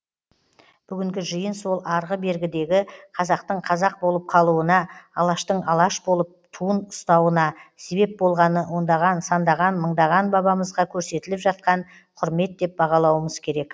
бүгінгі жиын сол арғы бергідегі қазақтың қазақ болып қалуына алаштың алаш болып туын ұстауына себеп болғаны ондаған сандаған мыңдаған бабамызға көрсетіліп жатқан құрмет деп бағалауымыз керек